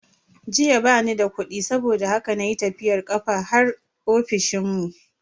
Jiya bani da kudi saboda haka na yi tafiyar kafa har ofishinmu.